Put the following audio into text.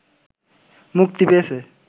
মুক্তি পেয়েছে